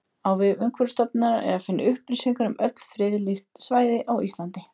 Á vef Umhverfisstofnunar er að finna upplýsingar um öll friðlýst svæði á Íslandi.